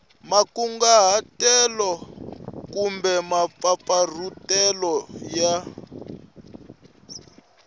makunguhatelo na kumbe mampfampfarhutelo ya